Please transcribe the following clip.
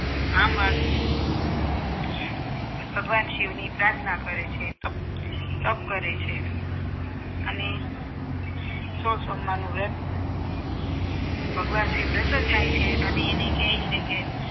તો ભગવાન શિવની પ્રાર્થના કરે છે તપ તપ કરે છે અને સો સોમવારનું વ્રત ભગવાન શિવ પ્રસન્ન થાય છે અને કહે છે કે